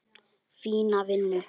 Fína vinnu.